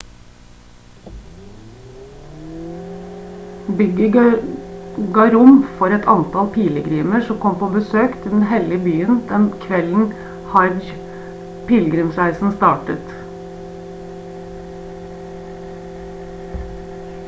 bygget ga rom for et antall pilegrimer som kom på besøk til den hellige byen den kvelden hajj-pilegrimsreisen startet